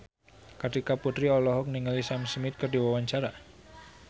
Kartika Putri olohok ningali Sam Smith keur diwawancara